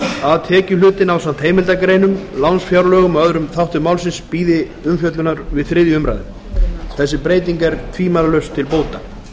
að tekjuhlutinn ásamt heimildargreinum lánsfjárlögum og öðrum þáttum málsins bíði umfjöllunar við þriðja umræða þessi breyting er tvímælalaust til bóta það